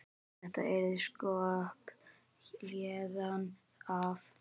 Þetta yrði kropp héðan af.